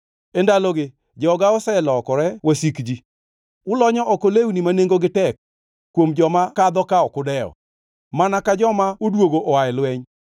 E ndalogi, joga oselokore wasik ji. Ulonyo oko lewni ma nengogi tek kuom joma kadho ka ok udewo, mana ka joma odwogo oa e lweny.